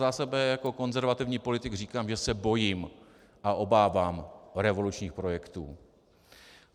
Za sebe jako konzervativní politik říkám, že se bojím a obávám revolučních projektů.